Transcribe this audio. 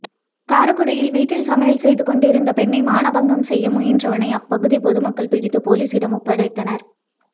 காரைக்குடியில் வீட்டில் சமையல் செய்துகொண்டிருந்த பெண்ணை மானபங்கம் செய்ய முயன்றவனை அப்பகுதி பொதுமக்கள் பிடித்து போலீசிடம் ஒப்படைத்தனர்